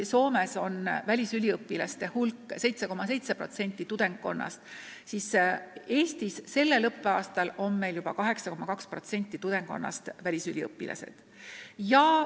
Soomes on välisüliõpilasi 7,7% tudengkonnast, Eestis sellel õppeaastal juba 8,2%.